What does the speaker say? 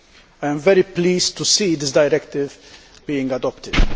I am very pleased to see this directive being adopted.